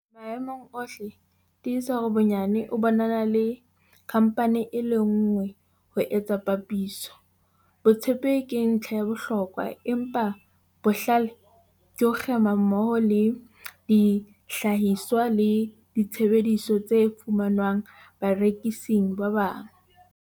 Maemong ohle, tiisa hore bonyane o bonana le khamphane e le nngwe ho etsa papiso. Botshepehi ke ntlha ya bohlokwa, empa bohlale ke ho kgema mmoho le dihlahiswa le ditshebeletso tse fumanwang barekising ba bang.